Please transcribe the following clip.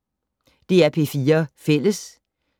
DR P4 Fælles